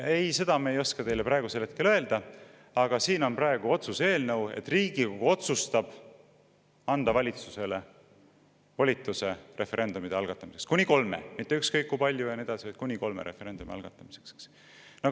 " Ei, seda me ei oska teile hetkel öelda, aga siin on praegu otsuse eelnõu, et Riigikogu otsustab anda valitsusele volituse referendumite algatamiseks – kuni kolme, mitte ükskõik kui mitme, vaid kuni kolme referendumi algatamiseks.